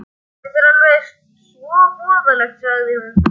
Þetta er alveg svo voðalegt, sagði hún.